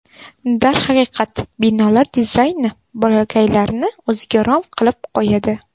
Darhaqiqat, binolar dizayni bolakaylarni o‘ziga rom qilib qo‘yadi.